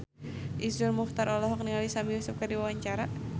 Iszur Muchtar olohok ningali Sami Yusuf keur diwawancara